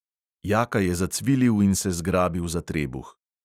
Jaka je zacvilil in se zgrabil za trebuh.